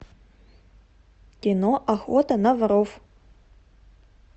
кино охота на воров